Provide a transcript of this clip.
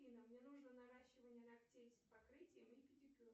афина мне нужно наращивание ногтей с покрытием и педикюр